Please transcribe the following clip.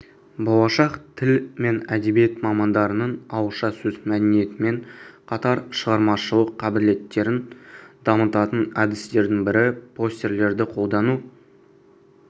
болашақ тіл мен әдебиет мамандарының ауызша сөз мәдениетімен қатар шығармашылық қабілеттерін дамытатын әдістердің бірі постерлерді қолдану